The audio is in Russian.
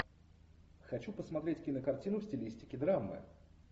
хочу посмотреть кинокартину в стилистике драмы